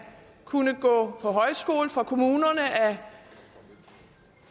kunne gå på højskole og for kommunerne at